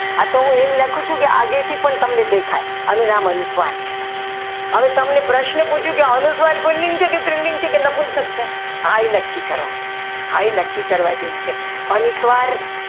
આ તો હું એમ લખું છું કે આગળથી તમને દેખાય કે અનુસ્વાર છે હવે તમને પ્રશ્ન પૂછું કે અનુસ્વર સ્ત્રીલિંગ છે કે પુલ્લિંગ છે કે નપુંસક છે આ એ નક્કી કરો હા એ નક્કી કરવા જેવું છે અનુસ્વાર